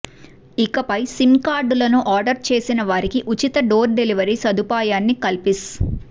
ఇకపై సిమ్ కార్డులను ఆర్డర్ చేసిన వారికి ఉచిత డోర్ డెలివరీ సదుపాయాన్ని కల్పిస్